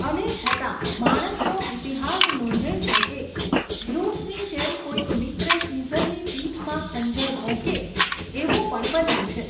અને છતાં માણસનો ઈતિહાસ નોંધે છે કે, બ્રુટ્સની જેમ કોઈક મિત્ર સિઝરની પીઠમાં ખંજર ભોંકે, એવું પણ બન્યું છે.